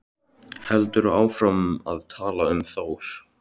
Heldur áfram að tala um Þór: